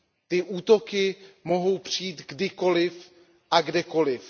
Ty útoky mohou přijít kdykoliv a kdekoliv.